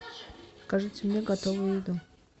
закажите мне готовую еду